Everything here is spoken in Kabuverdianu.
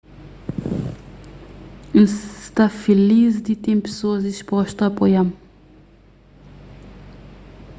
n sta filis di ten pesoas dispostu a apoia-m